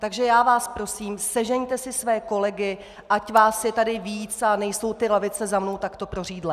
Takže já vás prosím, sežeňte si své kolegy, ať vás je tady víc a nejsou ty lavice za mnou takto prořídlé.